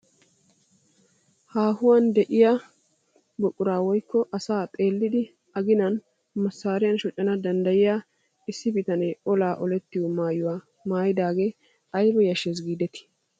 Haahuwaan de'iyaa buquraa woykko asaa xeellidi a ginan masariyaan shoccana danddayiyoo masariyaan issi bitanee olaa olettiyoo maayuwaa maayidagee ayba yashshees gidetti!